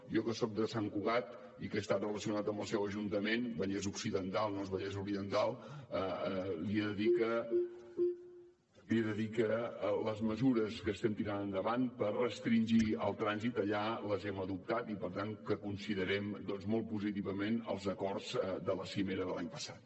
jo que soc de sant cugat i que he estat relacionat amb el seu ajuntament vallès occidental no és vallès oriental li he de dir que les mesures que estem tirant endavant per restringir el trànsit allà les hem adoptat i per tant considerem doncs molt positivament els acords de la cimera de l’any passat